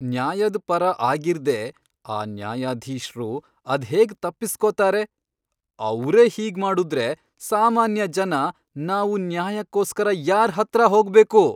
ನ್ಯಾಯದ್ ಪರ ಆಗಿರ್ದೇ ಆ ನ್ಯಾಯಾಧೀಶ್ರು ಅದ್ಹೇಗ್ ತಪ್ಪಿಸ್ಕೊತಾರೆ?! ಅವ್ರೇ ಹೀಗ್ಮಾಡುದ್ರೆ ಸಾಮಾನ್ಯ ಜನ ನಾವು ನ್ಯಾಯಕ್ಕೋಸ್ಕರ ಯಾರ್ಹತ್ರ ಹೋಗ್ಬೇಕು!